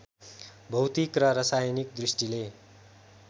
भौतिक र रासायनिक दृष्टिले